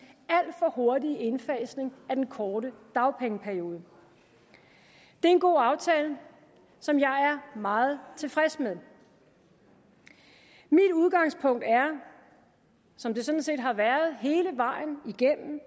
alt for hurtige indfasning af den korte dagpengeperiode det er en god aftale som jeg er meget tilfreds med mit udgangspunkt er som det sådan set har været hele vejen igennem